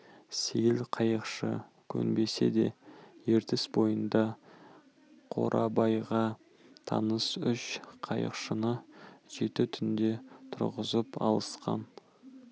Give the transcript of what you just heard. сейіл қайықшы көнбесе де ертіс бойында қорабайға таныс үш қайықшыны жеті түнде тұрғызып алысқан